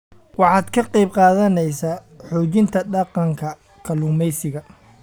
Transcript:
Waxaad ka qayb qaadanaysaa xoojinta dhaqanka kalluumaysiga.